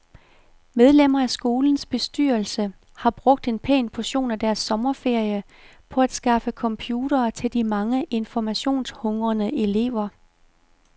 Medlemmer af skolens bestyrelse har brugt en pæn portion af deres sommerferie på at skaffe computere til de mange informationshungrende elever.